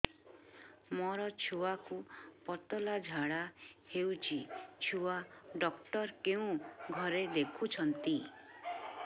ମୋର ଛୁଆକୁ ପତଳା ଝାଡ଼ା ହେଉଛି ଛୁଆ ଡକ୍ଟର କେଉଁ ଘରେ ଦେଖୁଛନ୍ତି